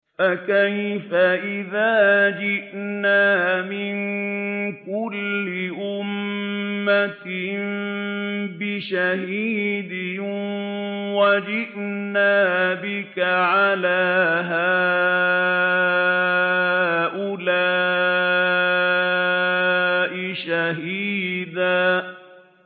فَكَيْفَ إِذَا جِئْنَا مِن كُلِّ أُمَّةٍ بِشَهِيدٍ وَجِئْنَا بِكَ عَلَىٰ هَٰؤُلَاءِ شَهِيدًا